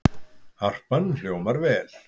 Harpan hljómar vel